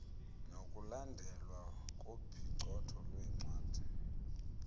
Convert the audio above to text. nokulandelwa kophicotho lwencwadi